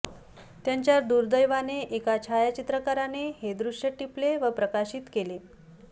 त्यांच्या दुर्दैवाने एका छायाचित्रकाराने हे दृश्य टिपले व प्रकाशित केले